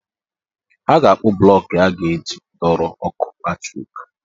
Ha ga-akpụ blọk e a ga-eji dọrọ ọkụ latrik.